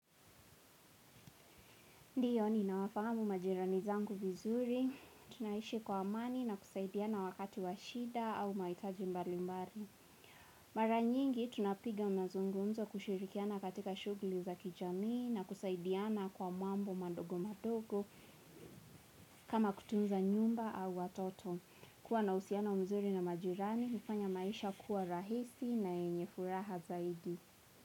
Ndiyo ninawafahamu majirani zangu vizuri, tunaishi kwa amani na kusaidiana wakati wa shida au mahitaji mbalimbali. Mara nyingi, tunapiga mazungumzo kushirikiana katika shughuli za kijamii na kusaidiana kwa mambo madogo madogo kama kutunza nyumba au watoto. Kuwa na uhusiano mzuri na majirani, huffanya maisha kuwa rahisi na yenye furaha zaidi.